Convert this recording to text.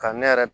Ka ne yɛrɛ